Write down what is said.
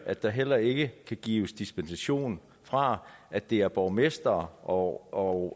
at der heller ikke kan gives dispensation fra at det er borgmestrene og